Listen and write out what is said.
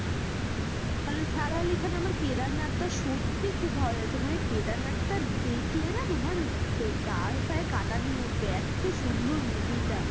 সারা আলি খানের আমার কেদারনাথ টা সত্যি খুব ভালো লেগেছে মানে কেদারনাথ টা দেখলে নাহ তোমার গায়েফায়ে কাটা দিয়ে উঠবে এত্ত সুন্দর movie টা